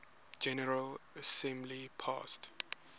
general assembly passed